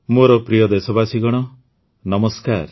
ମୋର ପ୍ରିୟ ଦେଶବାସୀଗଣ ନମସ୍କାର